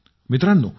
मित्रांनो